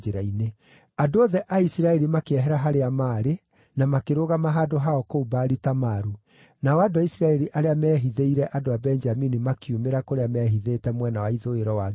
Andũ othe a Isiraeli makĩehera harĩa maarĩ na makĩrũgama handũ hao kũu Baali-Tamaru, nao andũ a Isiraeli arĩa meehithĩire andũ a Benjamini makiumĩra kũrĩa meehithĩte mwena wa ithũĩro wa Gibea.